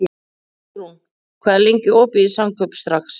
Úlfrún, hvað er lengi opið í Samkaup Strax?